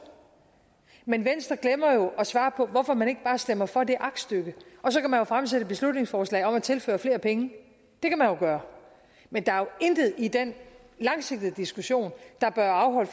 men venstre glemmer jo at svare på hvorfor man ikke bare stemmer for det aktstykke og så kan man jo fremsætte beslutningsforslag om at tilføre flere penge det kan man jo gøre men der er jo intet i den langsigtede diskussion der bør afholde